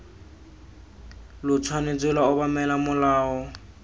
lo tshwanetse lwa obamela molao